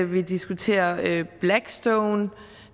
vi diskuterer blackstone